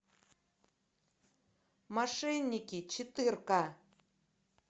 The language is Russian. мошенники четырка